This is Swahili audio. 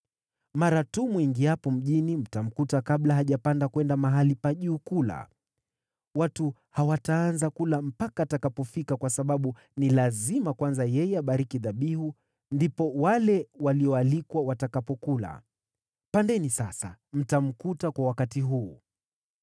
Mara tu mwingiapo mjini, mtamkuta kabla hajapanda kwenda mahali pa juu kula. Watu hawataanza kula mpaka atakapofika kwa sababu ni lazima kwanza yeye abariki dhabihu, ndipo wale walioalikwa watakapokula. Pandeni sasa, mtamkuta kwa wakati huu.”